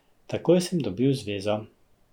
Takoj sem dobil zvezo.